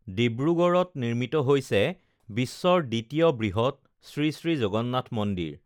ডিব্ৰুগড় নিৰ্মিত হৈছে বিশ্বৰ দ্বিতীয় বৃহত শ্ৰীশ্ৰী জগন্নাথ মন্দিৰ